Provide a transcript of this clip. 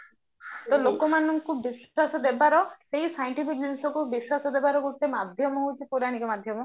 ତ ଲୋକମାନଙ୍କୁ ବିଶ୍ଵାସ ଦେବାର ସେଇ scientific ଜିନିଷକୁ ବିଶ୍ଵାସ ଦେବାର ଗୋଟେ ମାଧ୍ୟମ ହେଉଚି ପୌରାଣିକ ମାଧ୍ୟମ